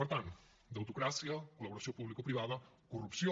per tant debitocràcia col·laboració publicoprivada corrupció